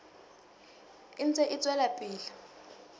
e ntse e tswela pele